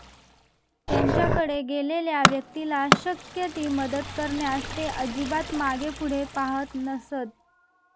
त्यांच्याकडे गेलेल्या व्यक्तीला शक्य ती मदत करण्यास ते अजिबात मागेपुढे पाहत नसत.